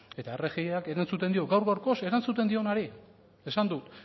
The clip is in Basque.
eta rgiak erantzuten dio gaur gaurkoz erantzuten dionari esan dut